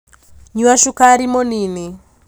Nyua cukari mũnini